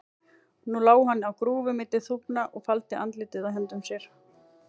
Nú lá hann á grúfu milli þúfna og faldi andlitið í höndum sér.